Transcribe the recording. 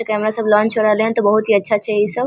Camera सब launch होय रहले हन ते बहुत ही अच्छा छै इ सब।